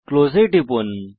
close এ টিপুন